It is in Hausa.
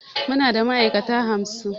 Muna da ma'aikata hamsin